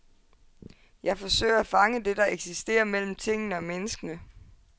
Jeg forsøger at fange det, der eksisterer mellem tingene og menneskene.